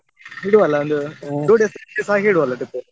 ಇಡುವಲ್ಲಾ ಒಂದು days ಹಾಗೆ ಇಡುವಲ್ಲಾ trip .